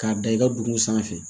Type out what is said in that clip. K'a da i ka dugu sanfɛ